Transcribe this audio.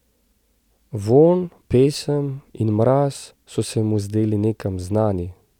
Vonj, pesem in mraz so se mu zdeli nekam znani.